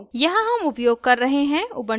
यहाँ हम उपयोग कर रहे हैं